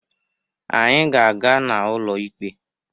Anyị ga-aga n'ụlọ ikpe.